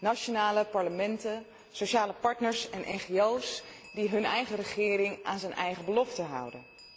Nationale parlementen, sociale partners en ngo's die hun regering aan haar eigen beloften houden.